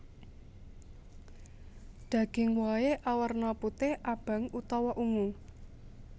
Daging wohé awerna putih abang utawa ungu